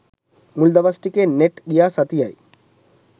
මුල් දවස් ටිකේ නෙට් ගියා සතියයි